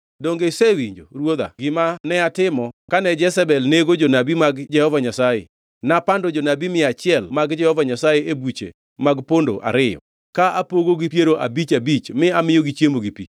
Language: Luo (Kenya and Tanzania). Donge isewinjo, ruodha gima natimo kane Jezebel nego jonabi mag Jehova Nyasaye? Napando jonabi mia achiel mag Jehova Nyasaye e buche mag pondo ariyo, ka apogogi piero abich abich mi amiyogi chiemo gi pi.